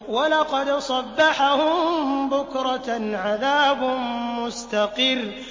وَلَقَدْ صَبَّحَهُم بُكْرَةً عَذَابٌ مُّسْتَقِرٌّ